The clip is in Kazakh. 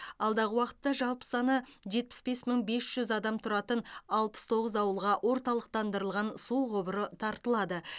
алдағы уақытта жалпы саны жетпіс бес мың бес жүз адам тұратын алпыс тоғыз ауылға орталықтандырылған су құбыры тартылады